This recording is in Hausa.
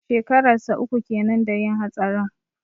Shekarar sa uku kenan da yin hatsarin.